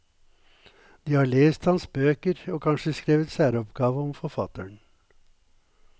De har lest hans bøker og kanskje skrevet særoppgave om forfatteren.